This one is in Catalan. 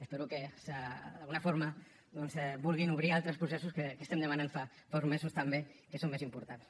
espero que d’alguna forma doncs vulguin obrir altres processos que estem demanant fa uns mesos també que són més importants